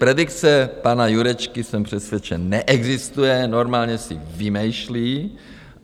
Predikce pana Jurečky, jsem přesvědčen, neexistuje, normálně si vymýšlí.